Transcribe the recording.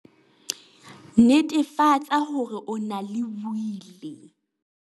Netefatsa hore o na le Wili!